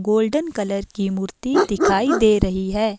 Golden colour की मूर्ति दिखाई दे रही है।